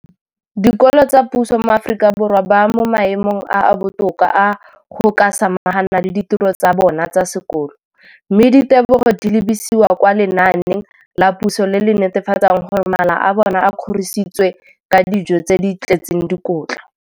Dikolo tsa puso mo Aforika Borwa ba mo maemong a a botoka a go ka samagana le ditiro tsa bona tsa sekolo, mme ditebogo di lebisiwa kwa lenaaneng la puso le le netefatsang gore mala a bona a kgorisitswe ka dijo tse di tletseng dikotla.